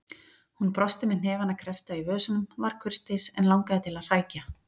Hún brosti með hnefana kreppta í vösunum, var kurteis en langaði til að hrækja.